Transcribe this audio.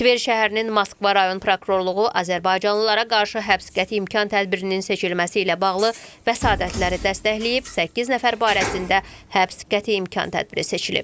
Tver şəhərinin Moskva rayon prokurorluğu azərbaycanlılara qarşı həbs qəti imkan tədbirinin seçilməsi ilə bağlı vəsadətləri dəstəkləyib, səkkiz nəfər barəsində həbs qəti imkan tədbiri seçilib.